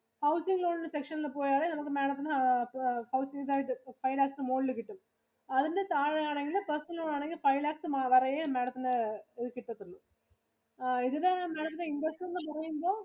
Housing loan ഇന്റെ section ഇല് പോയാലേ നമക്ക് Madam ത്തിനു five lakhs ഇന് മുകളില് കിട്ടാത്തൊള്ളൂ. അതിന്റെ താഴെ ആണെങ്കില് personal loan ആണെങ്കില് five lakhs വരെ യെ Madam ത്തിനു ഇത് കിട്ട ത്തുള്ളു. നമുക്ക് ആ ഇതിനു Madam ത്തിനു interest എന്ന് പറയുമ്പോ